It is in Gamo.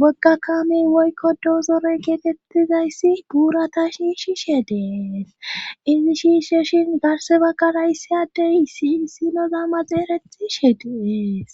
wagga kamin woykkodo zorey geetettizayssi buurata shiishi she dee izi shiishe shin garse bagarayssi addeyissi issino zamma xeerethi she dees